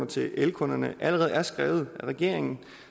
til elkunderne allerede er skrevet af regeringen